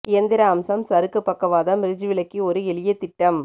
இயந்திர அம்சம் சறுக்கு பக்கவாதம் ரிட்ஜ் விளக்கி ஒரு எளிய திட்டம்